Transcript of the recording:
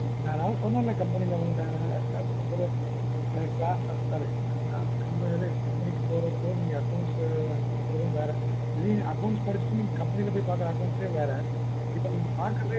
அதான் சொன்னன் company ல உங்கிட்ட sorry நீங்க பாக்குற accounts வேற படிச்சிட்டு போய் பாக்குற accounts வேற